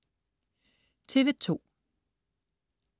TV2: